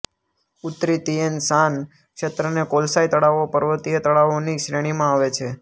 ઉત્તરી Tian Shan ક્ષેત્રને કોલસાઈ તળાવો પર્વતીય તળાવોની શ્રેણીમાં આવે છે